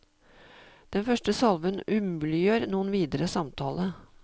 Den første salven umuliggjør noen videre samtale.